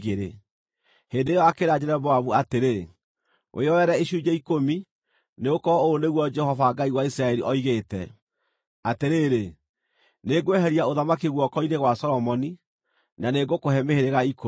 Hĩndĩ ĩyo akĩĩra Jeroboamu atĩrĩ, “Wĩyoere icunjĩ ikũmi, nĩgũkorwo ũũ nĩguo Jehova, Ngai wa Isiraeli, oigĩte: ‘Atĩrĩrĩ, nĩngweheria ũthamaki guoko-inĩ gwa Solomoni, na nĩngũkũhe mĩhĩrĩga ikũmi.